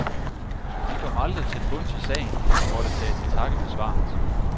De kom aldrig til bunds i sagen og måtte tage til takke med svaret.